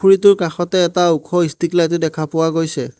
পুখুৰীটোৰ কাষতে এটা ওখ ষ্ট্ৰিক লাইট ও দেখা পোৱা গৈছে।